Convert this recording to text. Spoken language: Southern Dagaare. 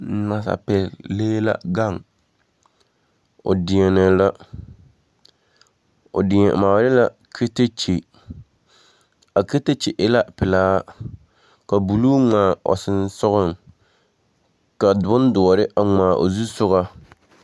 Nansapeԑle lee la gaŋe. O deԑnԑ la. O deԑ maale la katakye. A katakye e la pelaa, ka buluu ŋmaa o sonsogͻŋ, ka bondõͻre a ŋmaa o zuspogͻ.